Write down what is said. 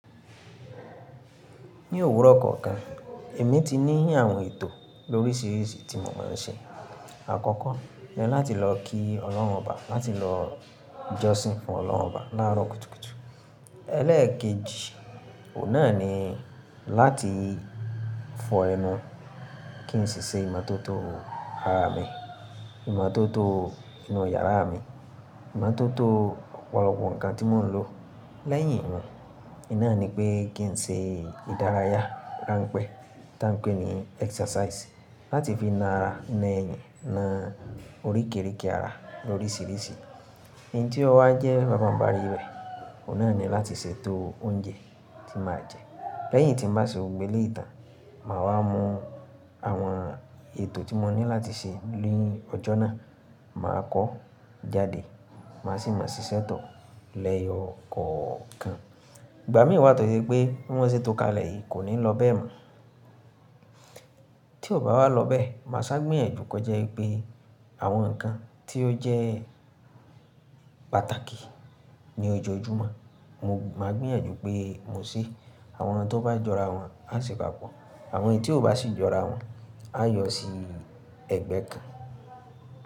Ní òwúrọ̀ kọ̀ọ̀kan èmi ti ní àwọn ètò lóríṣìíríṣìí tí mò ń ṣe. Àkọ́kọ́ jẹ́ láti lọ kí Ọlọ́run obá, láti lọ jọ́sìn fún Ọlọ́run obá láàárọ̀ kùtùkùtù. Eléèkejì, ọ̀un nà ni láti fọ ẹnu. Kí n ṣi ṣe ìmọ́tótó ara mi, ìmọ́tótó inú yàrá mi, ìmọ́tótó ọ̀pọ̀lọpọ̀ ǹkan tí mò ń lò. Lẹ́yìn wọn, i ná ni pé kí n ṣe ìdárayá ránpẹ́ tán pẹ́ ní exercise láti fi na ara ńẹyin na oríkìrìkì ara lóríṣìíríṣìí. Ǹtí ó wá jẹ́ bá bà ń ba rí rẹ̀, ọ̀ nà ni láti ṣètò oúnjẹ tí màá jẹ. Lẹ́yìn tí m bà ṣe gbogbo eléyi tàn, màá wá mo àwọn ètò tí mo ní láti ṣe ni ọjọ́ náà, màá kọ́ jáde, màá sì máa ṣiṣẹ́tọ̀ lẹ́yọ kọ̀ọ̀kan. Ìgbà mí wá tó ṣe pé bi mọ́ ṣe tó kalẹ̀ yìí kò ní lọ bẹ́ẹ̀ mọ́. Tí ò bá wá lọ bẹ́ẹ̀, màá sá gbéyànjú kó jẹ́ pé àwọn ǹkan tí ó jẹ́ pàtàkì ní ojojúmọ́, mo máa gbéyànjú pé mo ṣe. Àwọn tó bá jọra wọn á sì bá pọ̀. Àwọn tí ò bá sì jọra wọn á yọ sí ẹ̀gbẹ́ kan.